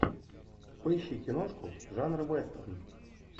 поищи киношку жанра вестерн